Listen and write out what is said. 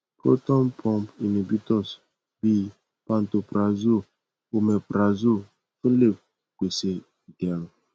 proton pump inhibitors bi pantoprazole omeprazole tun le pese iderun